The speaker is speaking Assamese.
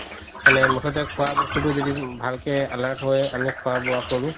মানে মুথতে খুৱা বস্তুতো যদি ভালকৈ alert হয় আমি খুৱা বুৱা কৰো